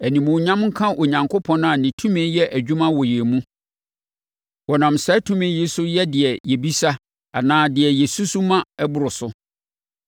Animuonyam nka Onyankopɔn a ne tumi yɛ adwuma wɔ yɛn mu. Ɔnam saa tumi yi so yɛ deɛ yɛbisa anaa deɛ yɛsusu ma ɛboro so.